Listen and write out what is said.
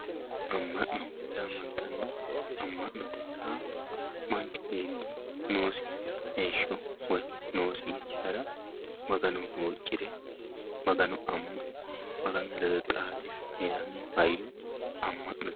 Ama'no yaamanitanno, Ama'no yaa manchi beeti noosi heesho woyi noosi yanara magano huucira magano ama'ne maganu ledo xaade heerano hayyo ama'note